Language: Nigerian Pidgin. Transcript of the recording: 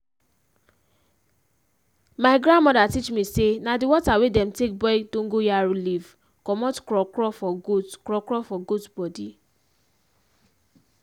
mi grandmoda teach me say na di water wey dem take boil dogon yaro leaf commot kro kro for goat kro for goat bodi